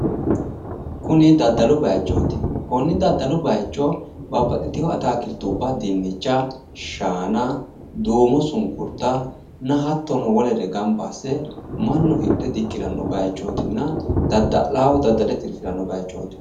Kuni daddalu bayichoti konni daddalu bayicho shaana shunkurta hattono wolootta daddale mannu tirfirano bayichoti